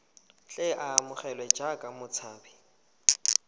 tle a amogelwe jaaka motshabi